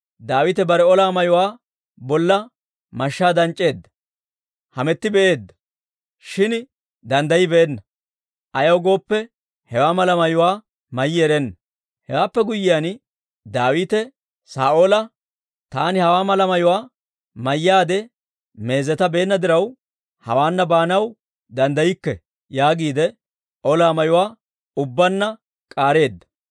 Daawite bare ola mayuwaa bolla mashshaa danc'c'eedda; hametti be'eedda; shin danddayibeenna; ayaw gooppe, hewaa malaa mayuwaa mayyi erenna. Hewaappe guyyiyaan, Daawite Saa'oola, «Taani hawaa mala mayuwaa mayyaade meezetabeenna diraw, hawaana baanaw danddaykke» yaagiide ola mayuwaa ubbaanna k'aareedda.